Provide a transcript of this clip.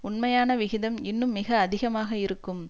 உண்மையான விகிதம் இன்னும் மிக அதிகமாக இருக்கும்